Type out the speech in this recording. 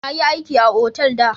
Na yi aiki a otal da.